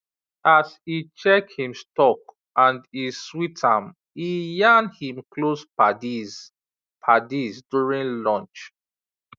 as e check him stock and e sweet am e yarn him close paddies paddies during lunch